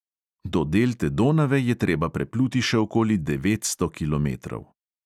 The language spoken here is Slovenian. Do delte donave je treba prepluti še okoli devetsto kilometrov.